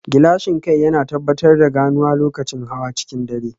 Gilashin kai yana tabbatar da ganuwa lokacin hawa cikin dare